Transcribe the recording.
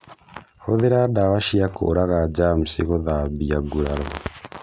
Huthĩra dawa cia kũraga jamsi gũthambia nguraro